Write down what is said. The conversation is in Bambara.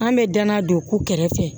An bɛ danna don ko kɛrɛfɛ